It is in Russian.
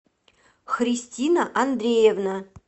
христина андреевна